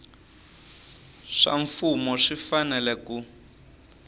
swa mfumo swi fanele ku